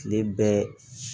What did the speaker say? Tile bɛɛ